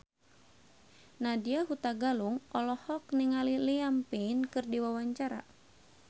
Nadya Hutagalung olohok ningali Liam Payne keur diwawancara